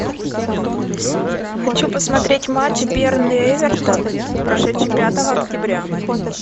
хочу посмотреть матч бернли эвертон прошедший пятого октября